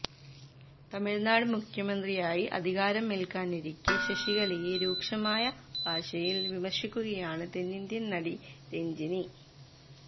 തമിഴ്നാട് മുഖ്യമന്ത്രിയായി അധികാരം ഏല്ക്കാനിരിക്കെ ശശികലയെ രൂക്ഷമായ ഭാഷയില് വിമര്ശിക്കുകയാണ് തെന്നിന്ത്യന് നടി രഞ്ജിനി